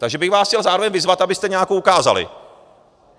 Takže bych vás chtěl zároveň vyzvat, abyste nějakou ukázali.